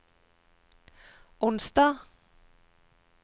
onsdag